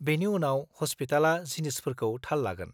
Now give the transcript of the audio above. बेनि उनाव, हस्पिटालआ जिनिसफोरखौ थाल लागोन।